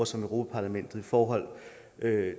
som europa parlamentet forhold